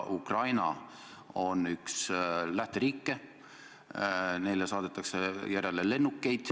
Ukraina on üks lähteriike, kuhu neile saadetakse lennukeid järele.